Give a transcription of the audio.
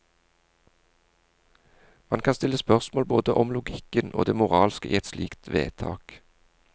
Man kan stille spørsmål både om logikken og det moralske i et slikt vedtak.